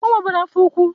O nweburu afọ ukwu.